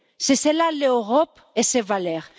C'est cela, l'Europe et ses valeurs.